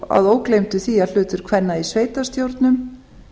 að ógleymdu því að hlutur kvenna í sveitarstjórnum